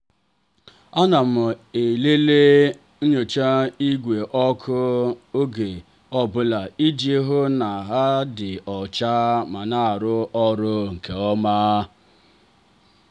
anam elele nchicha ìgwè ọkụ oge ọ bụla iji hụ na ha dị ọcha ma na aru ọrụ nke ọma.